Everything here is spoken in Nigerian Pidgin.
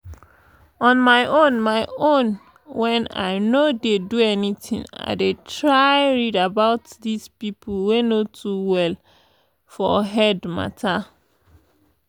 on my own my own when i no dey do anything i dey try raed about this people wey no too well for head matter.